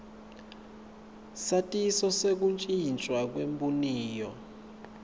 satiso sekutjintjwa kwebuniyo